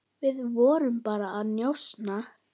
Við vorum bara að njósna,